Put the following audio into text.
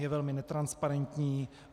Je velmi netransparentní.